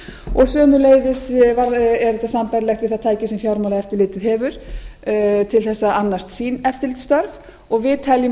og sömuleiðis er þetta sambærilegt við það tæki sem fjármálaeftirlitið hefur til þess að annast sín eftirlitsstörf og við teljum að